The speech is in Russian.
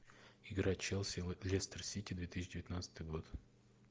игра челси лестер сити две тысячи девятнадцатый год